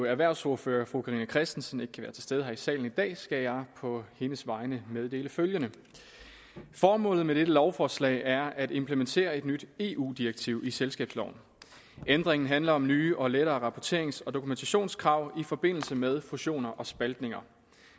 erhvervsordfører fru carina christensen ikke kan være til stede her i salen i dag skal jeg på hendes vegne meddele følgende formålet med dette lovforslag er at implementere et nyt eu direktiv i selskabsloven ændringen handler om nye og lettere rapporterings og dokumentationskrav i forbindelse med fusioner og spaltninger